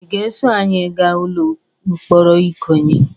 Ị ga-eso anyị gaa ụlọ mkpọrọ ikoyi?